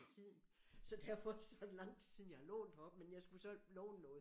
Til tiden så derfor så er det lang tid siden jeg har lånt heroppe men jeg skulle så låne noget